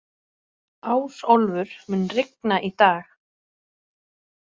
Ásólfur, mun rigna í dag?